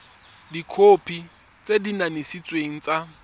dikhopi tse di kanisitsweng tsa